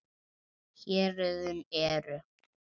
Héruðin eru